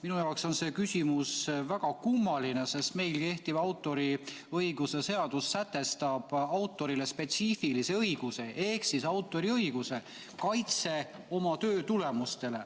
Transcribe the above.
Minu jaoks on see küsimus väga kummaline, sest meil kehtiv autoriõiguse seadus sätestab autorile spetsiifilise õiguse ehk siis autoriõiguse kaitse oma töö tulemustele.